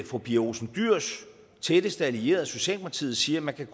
fru pia olsen dyhrs tætteste allierede socialdemokratiet siger at man